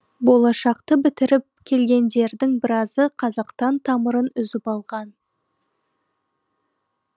болашақты бітіріп келгендердің біразы қазақтан тамырын үзіп алған